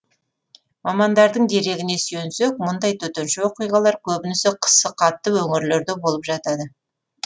мамандардың дерегіне сүйенсек мұндай төтенше оқиғалар көбінесе қысы қатты өңірлерде болып жатады